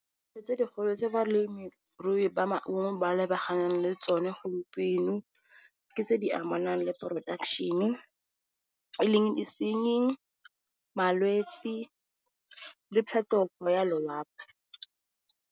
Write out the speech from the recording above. Tse digolo tse balemirui ba maungo ba lebaganeng le tsone gompieno, ke tse di amanang le production-e e leng disenyi, malwetsi le phetogo ya loapi.